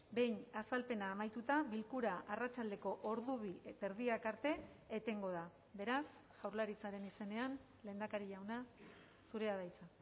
behin azalpena amaituta bilkura arratsaldeko ordu bi eta erdiak arte etengo da beraz jaurlaritzaren izenean lehendakari jauna zurea da hitza